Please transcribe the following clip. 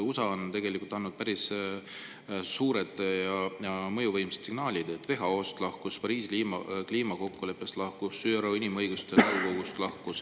USA on tegelikult andnud päris suuri ja mõjuvõimsaid signaale: lahkus WHO-st, Pariisi kliimakokkuleppest ja ÜRO Inimõiguste Nõukogust.